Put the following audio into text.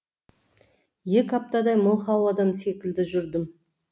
екі аптадай мылқау адам секілді жүрдім